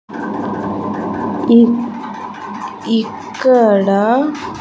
ఇ ఇక్కడ--